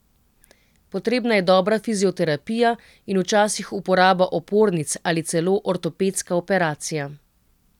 Potrebna je dobra fizioterapija in včasih uporaba opornic ali celo ortopedska operacija.